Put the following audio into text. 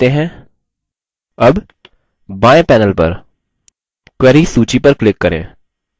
अब बाएँ panel पर queries सूची पर click करें